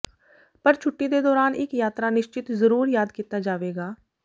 ਪਰ ਛੁੱਟੀ ਦੇ ਦੌਰਾਨ ਇੱਕ ਯਾਤਰਾ ਨਿਸ਼ਚਿਤ ਜ਼ਰੂਰ ਯਾਦ ਕੀਤਾ ਜਾਵੇਗਾ